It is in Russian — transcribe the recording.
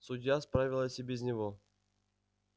судья справилась и без него